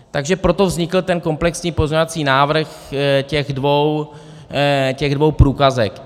Takže proto vznikl ten komplexní pozměňovací návrh těch dvou průkazek.